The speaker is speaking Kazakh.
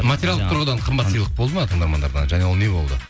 материалдық тұрғыдан қымбат сыйлық болды ма тыңдармандардан және ол не болды